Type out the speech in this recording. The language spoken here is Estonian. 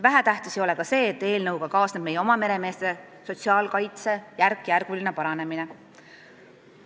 Vähetähtis ei ole ka see, et eelnõuga kaasneb meie oma meremeeste sotsiaalkaitse järkjärguline paranemine.